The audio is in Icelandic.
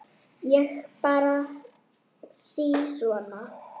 Ég bara spyr sí svona.